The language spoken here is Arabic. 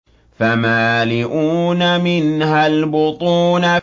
فَمَالِئُونَ مِنْهَا الْبُطُونَ